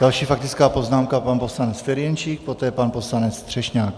Další faktická poznámka pan poslanec Ferjenčík, poté pan poslanec Třešňák.